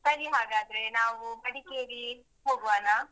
ಸರಿ ಹಾಗಾದ್ರೆ ನಾವು ಮಡಿಕೇರಿ ಹೋಗ್ವಾನಾ?